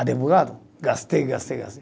advogado, gastei, gastei, gastei.